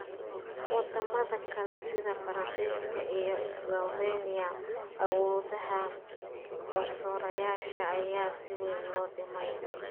Wadamada kale sida Faransiiska iyo Slovenia, awoodaha garsoorayaasha ayaa si weyn loo dhimay.